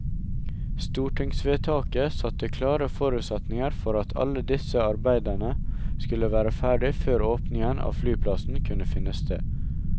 Stortingsvedtaket satte klare forutsetninger for at alle disse arbeidene skulle være ferdig før åpningen av flyplassen kunne finne sted.